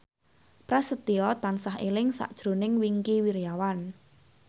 Prasetyo tansah eling sakjroning Wingky Wiryawan